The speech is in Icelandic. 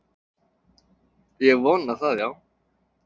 Ég vona það, já.